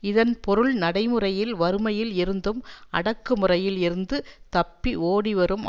இதன் பொருள் நடைமுறையில் வறுமையில் இருந்தும் அடக்குமுறையில் இருந்து தப்பி ஓடி வரும்